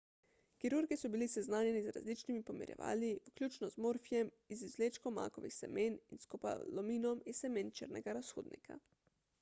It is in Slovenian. kirurgi so bili seznanjeni z različnimi pomirjevali vključno z morfijem iz izvlečkov makovih semen in skopolaminom iz semen črnega razhudnika